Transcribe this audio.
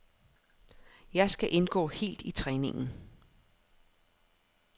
Jeg skal indgå helt i træningen.